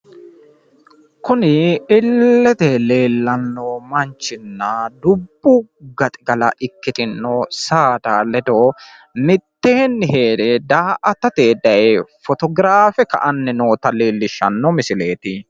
kuni illete leelanno manchinna dubbu gaxigala ikkitino saada ledo mitteenni heere daa'atate daye potograffe ka'anni noota leelishanno misileeti.